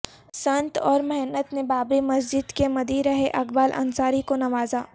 سنت اور مہنت نے بابری مسجد کے مدعی رہے اقبال انصاری کو نوازا